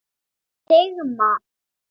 Sigmar